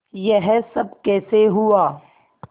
यह सब कैसे हुआ